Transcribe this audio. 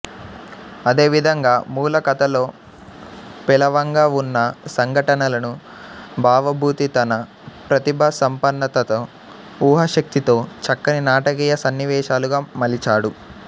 అదేవిధంగా మూల కథలో పేలవంగా వున్న సంఘటనలను భవభూతి తన ప్రతిభాసంపన్నతతో ఊహాశక్తితో చక్కని నాటకీయ సన్నివేశాలుగా మలిచాడు